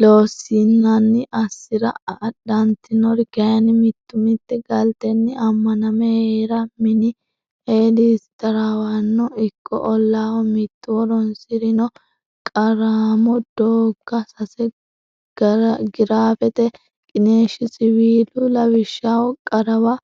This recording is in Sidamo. Loossinanni assi ra adhantinori kayinni mittu mitte galtenni ammaname hee ra mini Eedisi taraawanno ikko ollaaho mittu horonsi rino qaraamo doogga sase graafete qiniishshi siwiila lawishshaho qarawa